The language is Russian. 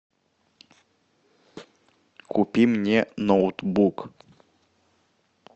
купи мне ноутбук